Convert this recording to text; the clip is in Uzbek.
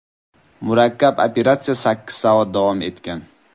Murakkab operatsiya sakkiz soat davom etgan.